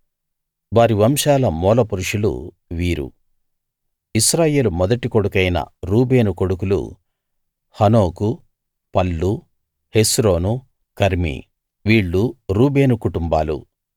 వారి వంశాల మూలపురుషులు వీరు ఇశ్రాయేలు మొదటి కొడుకైన రూబేను కొడుకులు హనోకు పల్లు హెస్రోను కర్మీ వీళ్ళు రూబేను కుటుంబాలు